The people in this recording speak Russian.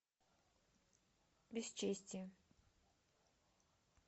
бесчестье